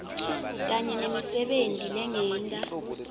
kanye nemisebenti lengeta